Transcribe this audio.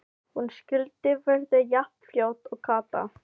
Hún skyldi verða jafn fljót og Kata!